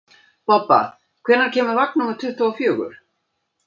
Bobba, hvenær kemur vagn númer tuttugu og fjögur?